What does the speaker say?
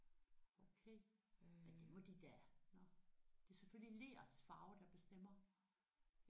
Okay men det må de da. Det er selvfølgelig lerets farve der bestemmer